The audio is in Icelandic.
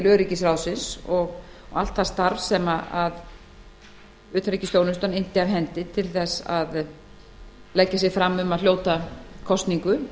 öryggisráðsins og allt það starf sem utanríkisþjónustan innti af hendi við að leggja sig fram um að hljóta kosningu